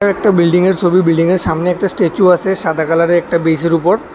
একটা বিল্ডিংয়ের ছবি বিল্ডিংয়ের সামনে একটা স্ট্যাচু আছে সাদা কালারের একটা ব্রিজের উপর।